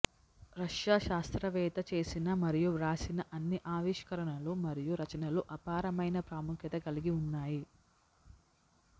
Russia శాస్త్రవేత్త చేసిన మరియు వ్రాసిన అన్ని ఆవిష్కరణలు మరియు రచనలు అపారమైన ప్రాముఖ్యత కలిగి ఉన్నాయి